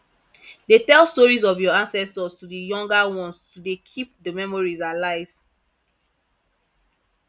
de tell stories of your ancestors to the younger ones to de keep the memories alive